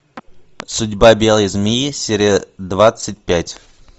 судьба белой змеи серия двадцать пять